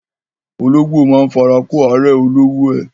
Ológbò máa ń fara kó árẹ̀ olówó ẹ.